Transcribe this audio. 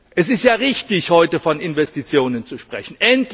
Es ist ja richtig, heute von Investitionen zu sprechen.